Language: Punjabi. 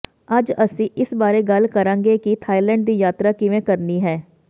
ਅੱਜ ਅਸੀਂ ਇਸ ਬਾਰੇ ਗੱਲ ਕਰਾਂਗੇ ਕਿ ਥਾਈਲੈਂਡ ਦੀ ਯਾਤਰਾ ਕਿਵੇਂ ਕਰਨੀ ਹੈ